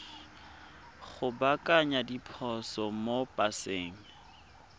go baakanya diphoso mo paseng